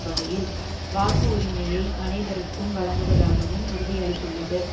வகையில் வாக்கு உரிமையை அனைவருக்கும் வழங்குவதாகவும் உறுதியளித்துள்ளது